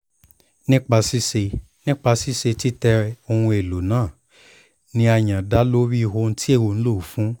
nipa ṣiṣe nipa ṣiṣe titẹ ohun elo naa ni a yan da lori ohun ti o nlo fun